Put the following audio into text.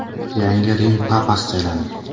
Yangi Rim papasi saylandi.